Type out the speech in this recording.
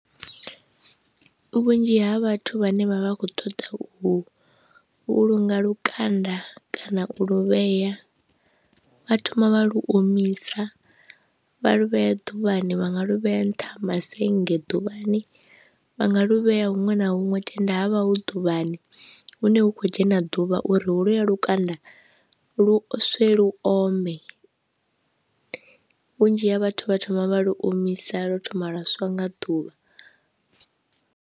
Vhunzhi ha vhathu vhane vha vha khou ṱoḓa u vhulunga lukanda kana u luvhea, vha thoma vha lu omisa vha lu vhea ḓuvhani vha nga lovhea nṱha ma sennge ḓuvhani vha nga lu vhea huṅwe na huṅwe tenda havha hu ḓuvhani, hune hu kho dzhena ḓuvha uri hu lu ya lukanda lu swe lu ome, vhunzhi ha vhathu vha thoma vha lu omisa lwo thoma lwa swa nga ḓuvha.